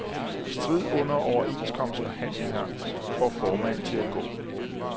Strid under overenskomstforhandlinger får formand til at gå.